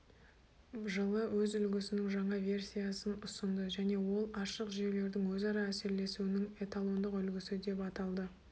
жылы өз үлгісінің жаңа версиясын ұсынды және ол ашық жүйелердің өзара әсерлесуінің эталондық үлгісі деп аталды